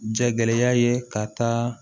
Jagɛlɛya ye ka taa